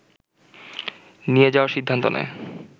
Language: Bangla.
নিয়ে যাওয়ার সিদ্ধান্ত নেয়